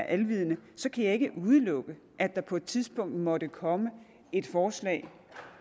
alvidende kan jeg ikke udelukke at der på et tidspunkt måtte komme et forslag